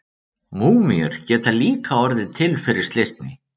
Múmíur geta líka orðið til fyrir slysni.